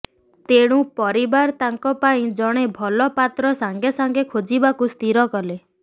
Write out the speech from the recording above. ତେଣୁ ପରିବାର ତାଙ୍କ ପାଇଁ ଜଣେ ଭଲ ପାତ୍ର ସାଙ୍ଗେ ସାଙ୍ଗେ ଖୋଜିବାକୁ ସ୍ଥିର କଲେ